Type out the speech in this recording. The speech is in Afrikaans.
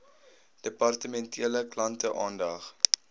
departementele klante aandag